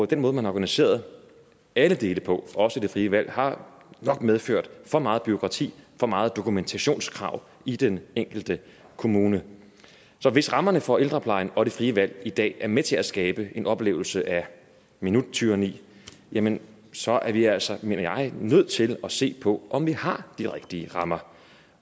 den måde man har organiseret alle dele på også det frie valg har nok medført for meget bureaukrati for mange dokumentationskrav i den enkelte kommune så hvis rammerne for ældreplejen og det frie valg i dag er med til at skabe en oplevelse af minuttyranni jamen så er vi altså mener jeg nødt til at se på om vi har de rigtige rammer